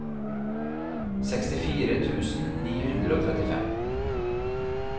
sekstifire tusen ni hundre og trettifem